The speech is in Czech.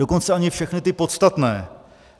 Dokonce ani všechny ty podstatné.